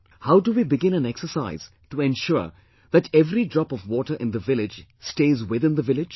How do we begin an exercise to ensure that every drop of water in the village stays within the village